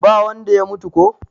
ba wanda ya mutu ko?